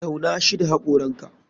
Tauna shoi da hakoranka.